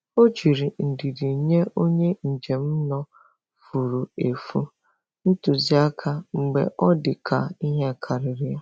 Ọ jiri ndidi nye onye njem nọ furu efu ntụzịaka mgbe ọ dị ka ihe karịrị ya.